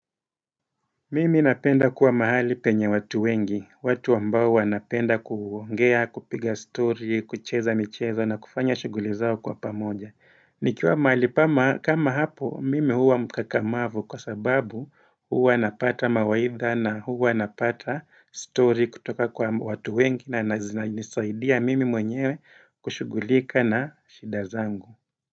Mimi napenda kuwa mahali penye watu wengi, watu wambao wanapenda kuongea, kupiga story, kucheza micheza na kufanya shuguli zao kwa pamoja. Nikiwa mahali kama hapo, mimi huwa mkakamavu kwa sababu huwa napata mawaitha na huwa napata story kutoka kwa watu wengi na zinisaidia mimi mwenyewe kushugulika na shidazangu.